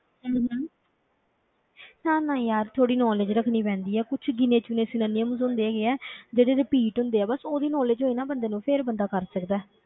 ਹਮ ਹਮ ਨਾ ਨਾ ਯਾਰ ਥੋੜ੍ਹੀ knowledge ਰੱਖਣੀ ਪੈਂਦੀ ਹੈ, ਕੁਛ ਗਿਣੇ ਚੁਣੇ synonyms ਹੁੰਦੇ ਹੈਗੇ ਆ ਜਿਹੜੇ repeat ਹੁੰਦੇ ਆ ਬਸ, ਉਹਦੀ knowledge ਹੋਏ ਨਾ ਬੰਦੇ ਨੂੰ ਫਿਰ ਬੰਦਾ ਕਰ ਸਕਦਾ ਹੈ,